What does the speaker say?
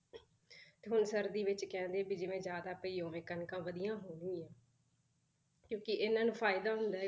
ਤੇ ਹੁਣ ਸਰਦੀ ਵਿੱਚ ਕਹਿੰਦੇ ਵੀ ਜਿਵੇਂ ਜ਼ਿਆਦਾ ਪਈ ਉਵੇਂ ਕਣਕਾਂ ਵਧੀਆ ਹੋਣਗੀਆਂ ਕਿਉਂਕਿ ਇਹਨਾਂ ਨੂੰ ਫ਼ਾਇਦਾ ਹੁੰਦਾ ਹੈ,